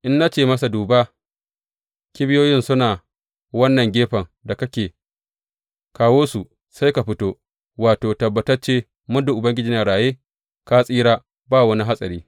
In na ce masa, Duba, kibiyoyin suna wannan gefen da kake, kawo su,’ sai ka fito, wato, tabbatacce muddin Ubangiji yana raye, ka tsira, ba wani hatsari.